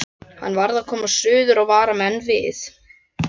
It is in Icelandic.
Hann varð að komast suður og vara menn við.